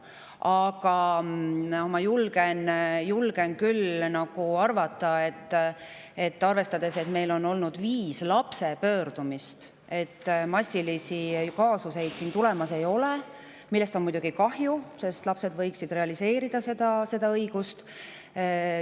Aga ma julgen küll arvata, arvestades, et meil on seni olnud viis lapse pöördumist, et massilisi kaasuseid tulemas ei ole, millest on muidugi kahju, sest lapsed võiksid oma õigusi realiseerida.